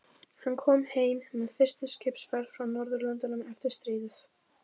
Hann kom heim með fyrstu skipsferð frá Norðurlöndum eftir stríðið.